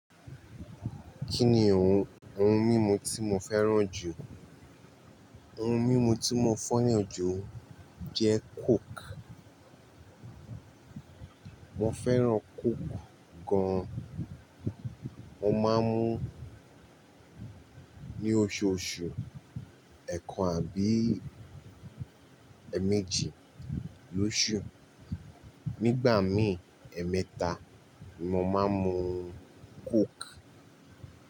Kí ni ohun, ohun mímu tí mo fẹ́ràn jù? Ohun mímu tí mo fẹ́ràn jù jẹ́ coke. Mo fẹ́ràn coke gan. Mo máa ń mu ní oṣooṣù, ẹẹkan àbí ẹ̀méjì lóṣù. Nígbà míì, ẹ̀mẹ́ta ni mo máa ń mu coke.